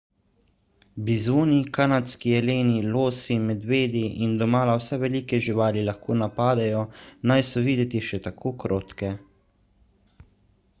bizoni kanadski jeleni losi medvedi in domala vse velike živali lahko napadejo naj so videti še tako krotke